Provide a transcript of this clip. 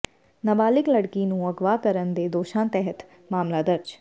ਨਾਬਾਲਿਗ ਲੜਕੀ ਨੂੰ ਅਗਵਾ ਕਰਨ ਦੇ ਦੋਸ਼ਾਂ ਤਹਿਤ ਮਾਮਲਾ ਦਰਜ